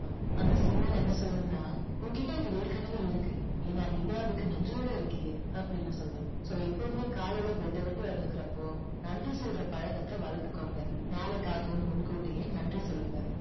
அந்த signal என்ன சொல்லும்னா உன்கிட்ட இது ஏற்கனவே இருக்கு. ஏன்னா நீ தான் அதுக்கு நன்றியோடு இருக்கியே அப்படின்னு சொல்லும். so எப்பவுமே காலைல bed அ விட்டு எழுந்துக்கிறப்போ நன்றி சொல்ற பழக்கத்தை வளர்த்துக்கோங்க. நாளைக்காகவும் முன்கூட்டியே நன்றி சொல்லுங்க.